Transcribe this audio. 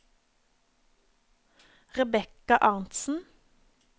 Rebekka Arntzen